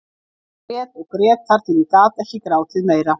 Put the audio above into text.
Ég grét og grét þar til ég gat ekki grátið meira.